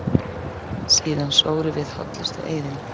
Síðan sórum við hollustueiðinn.